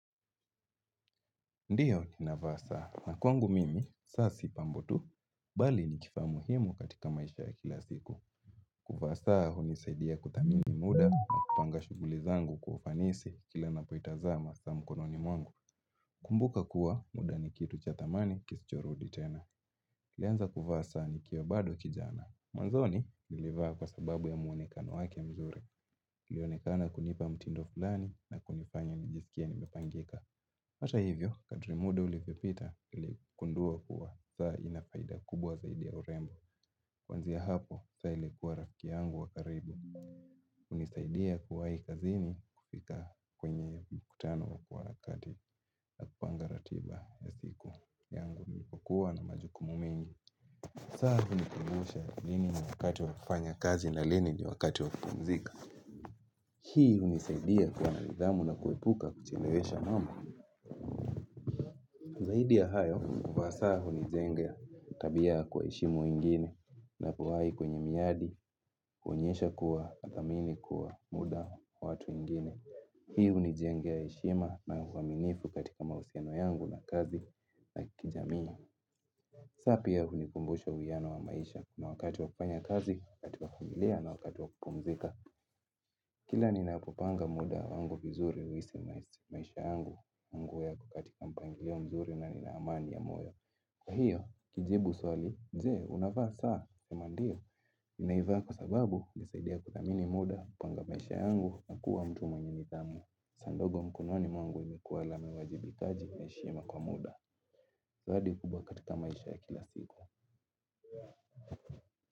Ndiyo ninavaa saa, na kwangu mimi, saa si pambutu, bali ni kifaa muhimu katika maisha ya kila siku. Kuvaa saa hunisaidia kuthamini muda, na kupanga shughuli zangu kwa ufanisi kila napoitazama saa mkononi mwangu. Kumbuka kuwa, muda ni kitu cha thamani, kisichorudi tena. Nilianza kuvaa saa nikiwa bado kijana. Mwanzoni, nilivaa kwa sababu ya muonekano wake mzuri. Ilionekana kunipa mtindo fulani, na kunifanya nijisikie nimepangika. Hata hivyo, kadri muda ulivyopita niligundua kuwa, saa ina faida kubwa zaidi ya urembo. Kuanzia hapo, saa ilikuwa rafiki yangu wa karibu. Hunisaidia kuwahi kazini kufika kwenye mkutano kwa wakati na kupanga ratiba ya siku yangu nilipokuwa na majukumu mengi. Saa hunikimbusha lini ni wakati wa kufanya kazi na lini ni wakati wa kupumzika. Hii hunisaidia kwa nidhamu na kuepuka kuchelewesha mambo. Zaidi ya hayo, kwa saa hunijengea tabia ya kuheshimu wengine napowahi kwenye miadi huonyesha kuwa kuthamini kuwa muda wavwatu wengine. Hii hunijengea heshima na uaminifu katika mahusiano yangu na kazi na kijamii. Saa pia hunikumbusha uwiano wa maisha na wakati wa kufanya kazi katika familia na wakati wa kupumzika. Kila ninapopanga muda wangu vizuri kuishi maisha yangu, mambo yako katika mpangilio mzuri na nina amani ya moyo. Kwa hiyo, kujibu swali, je, unavaa saa, nasema ndio, naivaa kwa sababu, hunisaidia kuthamini muda, kupanga maisha yangu, na kuwa mtu mwenye nidhamu, saa ndogo mkononi mwangu imekuwa alama ya uwajibikaji na heshima kwa muda, zawadi kubwa katika maisha ya kila siku.